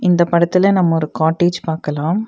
இந்தப் படத்துல நம்ம ஒரு காட்டேஜ் பாக்கலாம்.